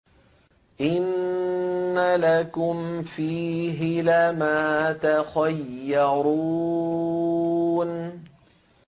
إِنَّ لَكُمْ فِيهِ لَمَا تَخَيَّرُونَ